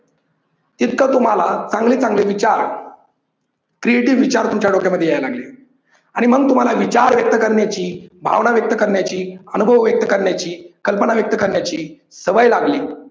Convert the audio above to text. तितकं तुम्हाला चांगले चांगले विचार creative विचार तुमच्या डोक्या मध्ये यायला लागले आणि मग तुम्हाला विचार व्यक्त करण्याची, भावना व्यक्त करण्याची, अनुभव व्यक्त करण्याची, कल्पना व्यक्त करण्याची सवय लागली.